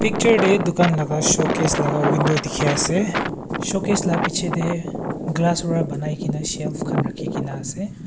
chair te dukan laga showcase laga window dikhi ase showcase la piche te glass ra banai kene shelf khan rakhi kene ase.